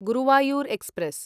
Guruvayur express